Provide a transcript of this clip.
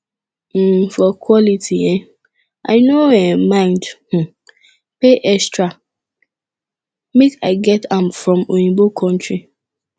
um for quality eh i no um mind um pay extra make i get am from oyinbo kontry